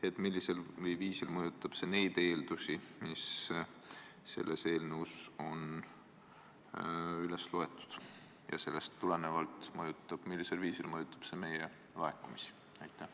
Üldse, millisel viisil mõjutab Läti otsus eeldusi, mis teie eelnõus on üles loetud, ja sellest tulenevalt: millisel viisil mõjutab see meie laekumisi?